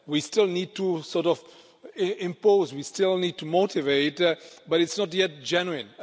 We still need to sort of impose, we still need to motivate, but it's not yet genuine.